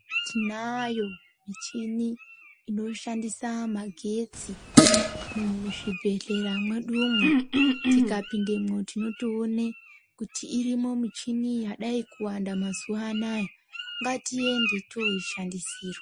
Tinayo michini inoshandisa magetsi muzvibhedhlera mwedu umwo. Tikapindemwo tinotoone kuti irimo muchini yadayi kuwanda mazuwa anaya ngatiende toyishandisirwa.